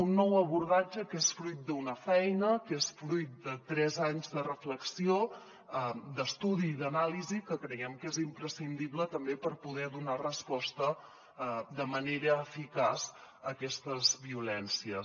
un nou abordatge que és fruit d’una feina que és fruit de tres anys de reflexió d’estudi i d’anàlisi que creiem que és imprescindible també per poder donar resposta de manera eficaç a aquestes violències